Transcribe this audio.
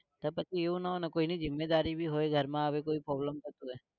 તો પછી એવું ના હોય ને કોઈને જિમ્મેદારી ભી હોય ઘર માં અગર કોઈ problem થતો હોય તો